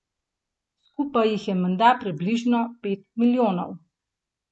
Skupaj jih je menda približno pet milijonov.